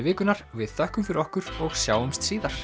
vikunnar við þökkum fyrir okkur og sjáumst síðar